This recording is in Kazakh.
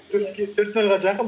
төрт нөлге жақын